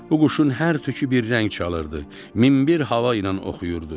Bu quşun hər tükü bir rəng çalırdı, min bir hava ilə oxuyurdu.